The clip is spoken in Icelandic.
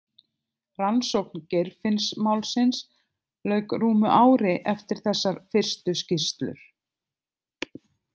Rannsókn Geirfinnsmálsins lauk rúmu ári eftir þessar fyrstu skýrslur.